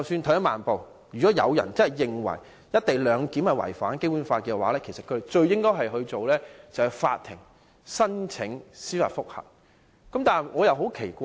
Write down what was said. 退一萬步來說，即使有人認為"一地兩檢"違反《基本法》，他們應該做的是向法院提出司法覆核。